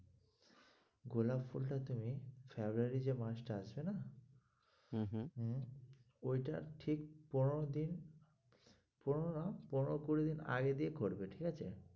গোলাপ ফুলটা তুমি February যে মাসটা আছে না হম হম হম ওইটার ঠিক পনেরো দিন পনেরো না পনেরো-কুড়ি দিন আগে দিয়ে করবে ঠিকআছে?